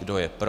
Kdo je pro?